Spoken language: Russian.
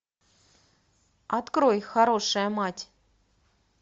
открой хорошая мать